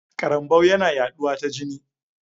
Karambau yana yaɗuwa ta jini.